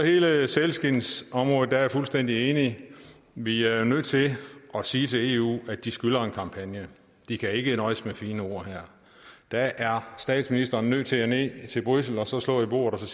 hele sælskindsområdet er jeg fuldstændig enig vi er nødt til at sige til eu at de skylder en kampagne de kan ikke nøjes med fine ord her der er statsministeren nødt til at tage ned til bruxelles og slå i bordet og